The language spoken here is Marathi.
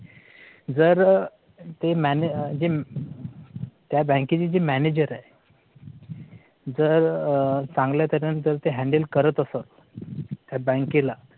जर ते manage त्या बँकेची जी manager आहे जर चांगल्या तऱ्हेने ते handle करत असत. त्या बँकेला